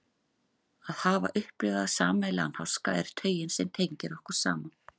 Að hafa upplifað sameiginlegan háska er taugin sem tengir okkur saman.